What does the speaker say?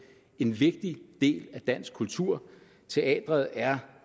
en vigtig del af dansk kultur teatret er